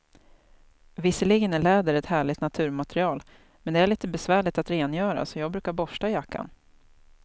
Visserligen är läder ett härligt naturmaterial, men det är lite besvärligt att rengöra, så jag brukar borsta jackan.